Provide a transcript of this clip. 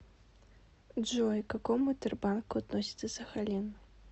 джой к какому тербанку относится сахалин